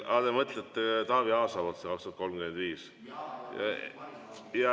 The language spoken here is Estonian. Aa, te mõtlete Taavi Aasa poolt seda 2035.